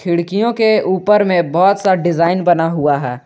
लड़कियों के ऊपर में बहोत सा डिजाइन बना हुआ है।